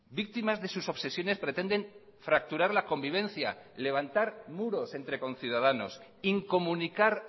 víctimas de sus obsesiones pretenden fracturar la convivencia levantar muros entre conciudadanos incomunicar